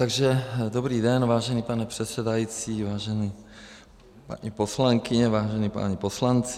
Takže dobrý den, vážený pane předsedající, vážené paní poslankyně, vážení páni poslanci.